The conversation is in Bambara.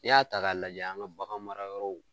N'i y'a ta ka lajɛ an ka bagan mara yɔrɔw